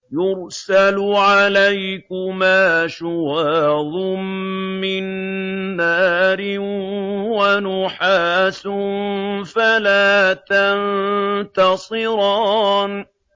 يُرْسَلُ عَلَيْكُمَا شُوَاظٌ مِّن نَّارٍ وَنُحَاسٌ فَلَا تَنتَصِرَانِ